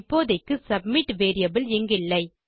இப்போதைக்கு submit variable இங்கில்லை